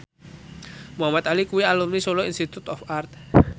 Muhamad Ali kuwi alumni Solo Institute of Art